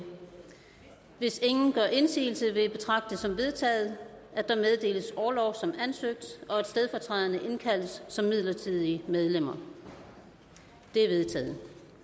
hvis ingen gør indsigelse vil jeg betragte det som vedtaget at der meddeles orlov som ansøgt og at stedfortræderne indkaldes som midlertidige medlemmer det er vedtaget